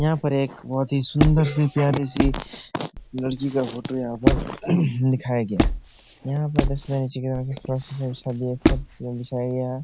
यहाँ पर एक बहुत ही सुन्दर सी प्यारी सी लड़की का फोटो यहाँ पर दिखाया गया है । यहाँ पर फर्श बिछाया गया है ।